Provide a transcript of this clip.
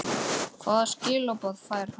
Gunnar: Hvaða skilaboð fær hann?